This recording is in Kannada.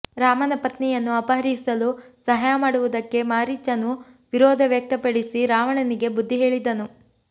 ರಾಮನ ಪತ್ನಿಯನ್ನು ಅಪಹರಿಸಲು ಸಹಾಯ ಮಾಡುವುದಕ್ಕೆ ಮಾರೀಚನು ವಿರೋಧ ವ್ಯಕ್ತಪಡಿಸಿ ರಾವಣನಿಗೆ ಬುದ್ಧಿ ಹೇಳಿದನು